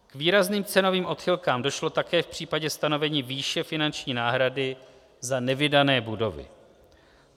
K výrazným cenovým odchylkám došlo také v případě stanovení výše finanční náhrady za nevydané budovy.